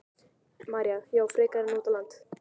María: Já, frekar en út á land?